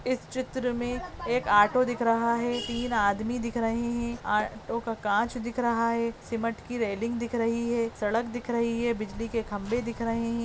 इस चित्र में एक आटो दिख रहा है तीन आदमी दिख रहे हैं आटो का कांच दिख रहा है सीमट कि रेलिंग दिख रही है सड़क दिख रही है बिजली के खम्बे दिख रहे हैं।